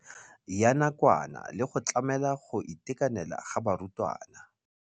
Ya nakwana le go tlamela go itekanela ga barutwana.